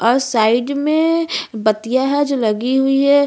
और साइड मे बतियां है जो लगी हुई है।